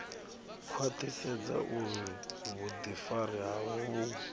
khwaṱhisedza uri vhuḓifari havho vhu